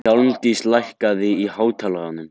Hjálmdís, lækkaðu í hátalaranum.